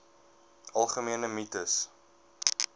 algemene mites